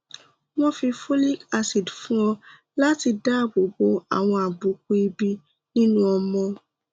wọn fi folic acid fún ọ láti dáàbò bo àwọn àbùkù ìbí nínú ọmọ